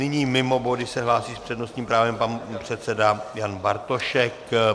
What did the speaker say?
Nyní mimo body se hlásí s přednostním právem pan předseda Jan Bartošek.